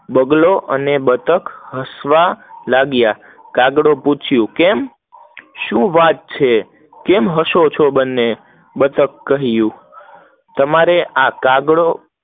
બગલો અને બતક હસવા લાગ્યા, કાગડો પૂછિયું કેમ, શું વાત છે? હસો છો, બને બતક કહીંયુ, તમારે આ કાગડો